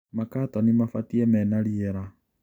Makatoni mabatie menariera.